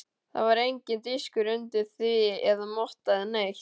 Það var enginn diskur undir því eða motta eða neitt.